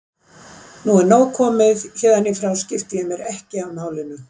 Nú er nóg komið, héðan í frá skipti ég mér ekki af málinu.